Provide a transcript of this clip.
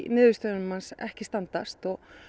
niðurstöðunum ekki standast